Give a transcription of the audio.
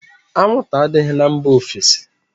Anwụnta adịghị na mba ofesi